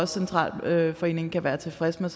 centralforeningen kan være tilfreds med